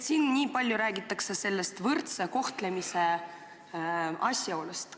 Siin on nii palju räägitud võrdsest kohtlemisest.